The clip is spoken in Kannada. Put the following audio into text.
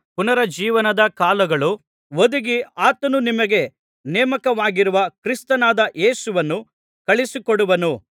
ಪುನರುಜ್ಜೀವನದ ಕಾಲಗಳು ಒದಗಿ ಆತನು ನಿಮಗೆ ನೇಮಕವಾಗಿರುವ ಕ್ರಿಸ್ತನಾದ ಯೇಸುವನ್ನು ಕಳುಹಿಸಿಕೊಡುವನು